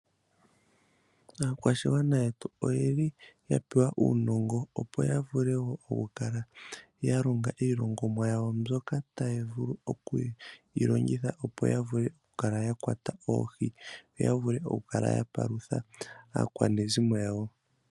Aakwashigwana yetu oyeli yapewa uunongo, opo yavule wo okukala yalonga iilongomwa yawo mbyoka tayi vulu okuyilongitha, opo yavule okukala yakwata oohi yoyavule okupalutha aakwanezimo yawo.